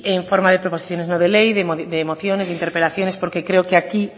en forma de proposiciones no de ley de mociones de interpelaciones porque creo que aquí